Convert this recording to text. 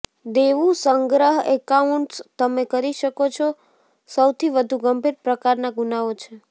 દેવું સંગ્રહ એકાઉન્ટ્સ તમે કરી શકો છો સૌથી વધુ ગંભીર પ્રકારના ગુનાઓ છે